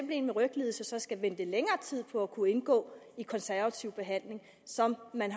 med en ryglidelse skal vente længere tid på at kunne indgå i konservativ behandling som man